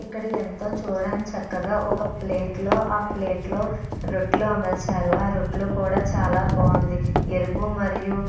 ఇక్కడ ఎంతో చూడడానికి చక్కగా ఒక ప్లేట్ లో ఆ ప్లేట్ లో రొట్టెలు అమర్చారు. ఆ రొట్టెలు కూడా చాల బాగుండి ఎరుపు మరియు --